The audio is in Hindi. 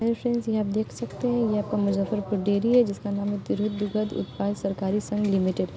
हेलो फ्रेंड्स यह आप देख सकते है यह आपका मुज्जफरपुर डेयरी है जिसका नाम है तिरहुत दुग्ध उत्पादक सहकारी संघ लिमिटेड ।